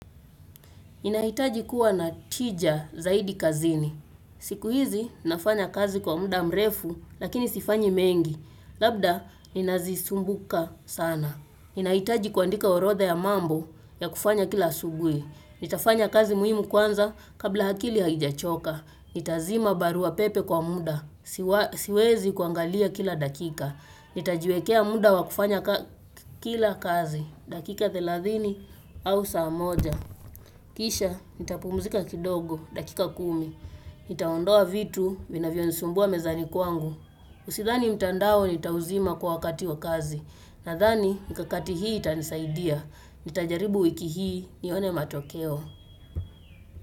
Inaitaji kuwa na tija zaidi kazini. Siku hizi nafanya kazi kwa muda mrefu lakini sifanyi mengi. Labda ninazisumbuka sana. Inaitaji kuandika orodha ya mambo ya kufanya kila asubuhi. Nitafanya kazi muhimu kwanza kabla akili haijachoka. Nitazima barua pepe kwa muda, siwezi kuangalia kila dakika Nitajiwekea muda wakufanya kila kazi, dakika 30 au saa moja Kisha, nita pumuzika kidogo, dakika 10 Nitaondoa vitu, vinavyo nisumbua mezani kwangu Usithani mtandao nita uzima kwa wakati wa kazi Nadhani, mikakati hii itanisaidia Nita jaribu wiki hii, nione matokeo.